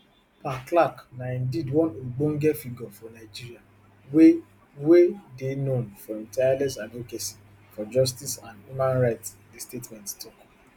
pa clark na indeed one ogbonge figure for nigeria wey wey dey known for im tireless advocacy for justice and human rights di statement tok